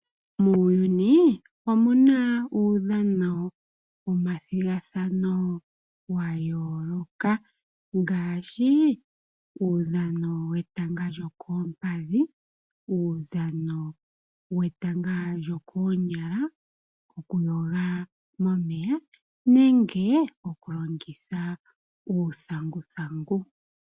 Muuyuni omuna uudhano omathigathano gayooloka ngaashi uudhano wetanga lyokoompadhi, uudhano wetanga lyokoonyala okuyoga momeya nenge okulongitha uuthanguthangu.